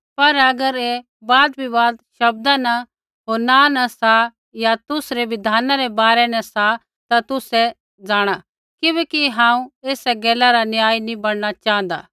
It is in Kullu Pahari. पर अगर ऐ वादविवाद सा नाँ होर तुसरी बिधानै रै बारै न सा ता तुसै जाँणा किबैकि हांऊँ एसा गैला रा न्यायी नी बण न च़ाँहदा